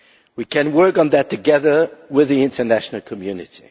We can work on that together with the international community.